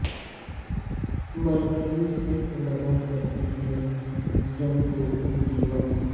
مرد ہی سے تو لگا کرتی ہے زن کو دیمک